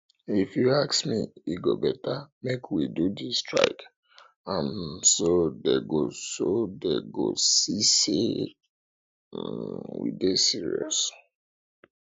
if you ask me e go beta make we do dis strike um so dey go so dey go see say um we serious